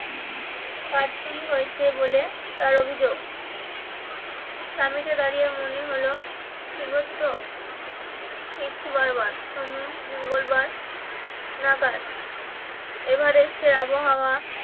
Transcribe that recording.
কারচুপি হয়েছে বলে তার অভিযোগ দাঁড়িয়ে মনে হলো বারবার সোম মঙ্গলবার নাগাদ এভারেস্টের আবহাওয়া